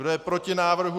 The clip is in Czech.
Kdo je proti návrhu?